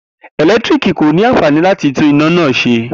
Eletiriki ko ni anfani lati tun ina naa ṣe.